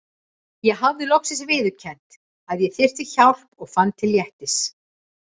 Ég hafði loksins viðurkennt að ég þyrfti hjálp og fann til léttis.